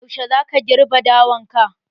Yaushe za ka girbe dawan ka?